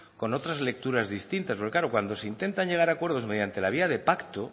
con otras lecturas distintas porque claro cuando se intentan llegar a acuerdos mediante la vía de pacto